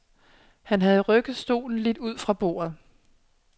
Han havde rykket stolen lidt ud fra bordet.